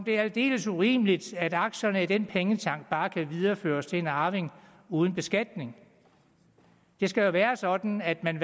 det er aldeles urimeligt at aktierne i den pengetank bare kan videreføres til en arving uden beskatning det skal jo være sådan at man